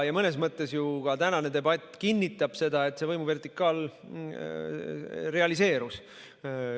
Mõnes mõttes ju ka tänane debatt kinnitab seda, et see võimuvertikaal on realiseerunud.